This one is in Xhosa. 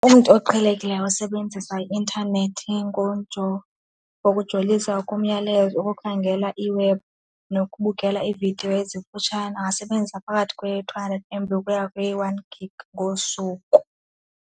Umntu oqhelekileyo osebenzisa i-intanethi ngokujolisa komyalelo wokukhangela iwebhu nokubukela iividiyo ezifutshane angasebenzisa phakathi kwe-two hundred M_B ukuya kwi one gig ngosuku.